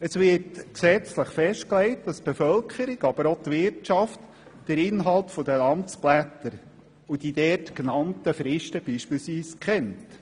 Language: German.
Es wird gesetzlich festgelegt, dass die Bevölkerung, aber auch die Wirtschaft den Inhalt der Amtsblätter und beispielsweise die darin festgehaltenen Fristen kennt.